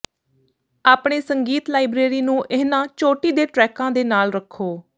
ਆਪਣੇ ਸੰਗੀਤ ਲਾਇਬਰੇਰੀ ਨੂੰ ਇਹਨਾਂ ਚੋਟੀ ਦੇ ਟਰੈਕਾਂ ਦੇ ਨਾਲ ਰੱਖੋ